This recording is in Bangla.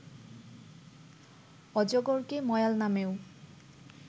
অজগরকে ময়াল নামেও